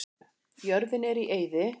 Jörðin er í eyði.